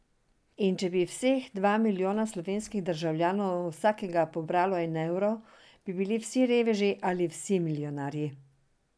In če bi vseh dva milijona slovenskih državljanov od vsakega pobralo en evro, bi bili vsi reveži ali vsi milijonarji?